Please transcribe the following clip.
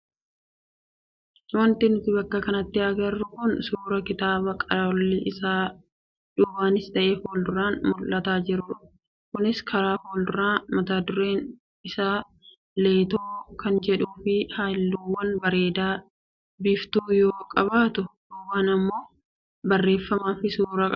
Wanti nuti bakka kanatti agarru kun suuraa kitaaba qolli isaa duubaanis ta'ee fuulduraan mul'ataa jirudha. Kunis karaa fuulduraa matadureen isaa Leetoo kan jedhuu fi halluuwwan bareedaa biiftuu yoo qabaatu duubaan immoo barreeffamaa fi suuraa dubartii tokkoo qaba.